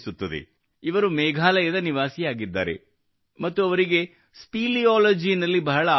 ಇವರು ಮೇಘಾಲಯದ ನಿವಾಸಿಯಾಗಿದ್ದಾರೆ ಮತ್ತು ಅವರಿಗೆ ಸ್ಪೆಲಿಯಾಲಜಿ स्पेलियोलॉजी ನಲ್ಲಿ ಬಹಳ ಆಸಕ್ತಿ ಇದೆ